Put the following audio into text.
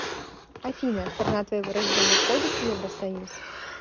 афина страна твоего рождения входит в евросоюз